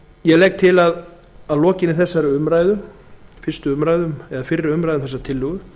ég legg til að að lokinni fyrri umræðu um þessa tillögu